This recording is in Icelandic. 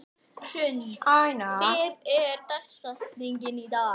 Benvý, hækkaðu í græjunum.